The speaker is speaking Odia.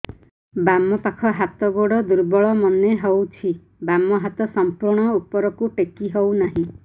ବାମ ପାଖ ହାତ ଗୋଡ ଦୁର୍ବଳ ମନେ ହଉଛି ବାମ ହାତ ସମ୍ପୂର୍ଣ ଉପରକୁ ଟେକି ହଉ ନାହିଁ